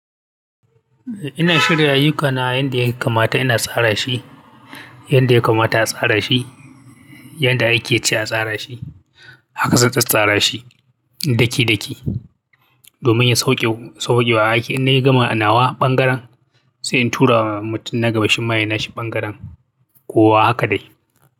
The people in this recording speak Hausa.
Ina shirya ayyukana yanda ya kamata ina tsara shi, yanda ya kamata a tsara shi, yanda aiki yace a tsara shi, haka zan tsattsara shi daki-daki domin ya sawaƙewa aiki. In na gama nawa ɓangaren sai in tura wa mutum na gaba shi ma ya yi nashi ɓangaren ko wa haka dai.